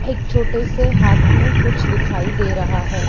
एक छोटे से हाथ में कुछ दिखाई दे रहा है।